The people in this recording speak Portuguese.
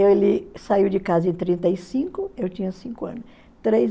Ele saiu de casa em trinta e cinco eu tinha cinco anos. Três